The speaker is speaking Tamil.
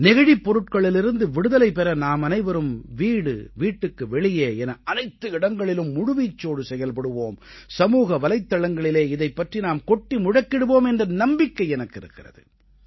நெகிழிப் பொருட்களிலிருந்து விடுதலை பெற நாமனைவரும் வீடு வீட்டுக்கு வெளியே என அனைத்து இடங்களிலும் முழுவீச்சோடு ஈடுபடுவோம் சமூக வலைத்தளங்களிலே இதைப் பற்றி நாம் கொட்டி முழக்கிடுவோம் என்ற நம்பிக்கை எனக்கு இருக்கிறது